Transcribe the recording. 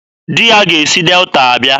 Di ya ga-esi Delta abịa